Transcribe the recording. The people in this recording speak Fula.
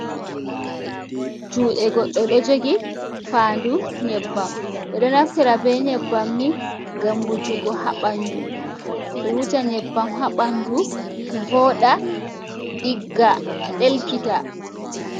Juɗe goɗɗo ɗo jogi fandu nyebbam, ɓeɗo naftira be nyebbam ni, ngam wujugo ha ɓandu, ɓewuja nyebbam habandu voɗa ɗigga ɗelkita.